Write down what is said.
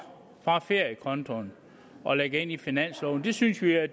fra feriekonto og lægger ind i finansloven det synes vi at